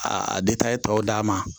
A depi a ye tɔw d'a ma